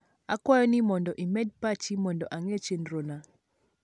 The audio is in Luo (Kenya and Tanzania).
akwayo ni mondo imed pachi mondo ange chenrona